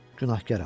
Günahkaram.